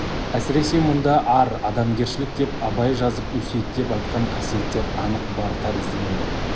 әсіресе мұнда ар адамгершілік деп абай жазып өсиеттеп айтқан қасиеттер анық бар тәрізденеді